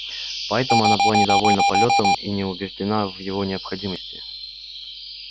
поэтому она была недовольна полётом и не убеждена в его необходимости